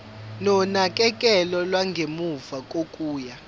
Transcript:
nonakekelo lwangemuva kokuya